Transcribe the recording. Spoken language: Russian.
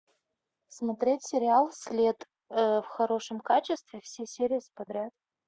смотреть сериал след в хорошем качестве все серии подряд